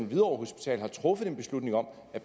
hvidovre hospital har truffet en beslutning om at